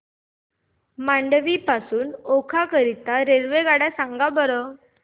मांडवी पासून ओखा करीता रेल्वेगाड्या सांगा बरं